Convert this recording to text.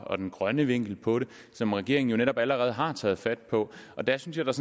og den grønne vinkel på det som regeringen jo netop allerede har taget fat på der synes jeg